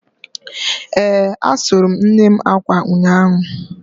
Ee, asụrụ m nnem akwa ụnyahụ